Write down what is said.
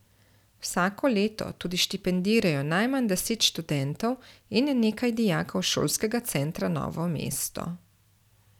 Vsako leto tudi štipendirajo najmanj deset študentov in nekaj dijakov Šolskega centra Novo mesto.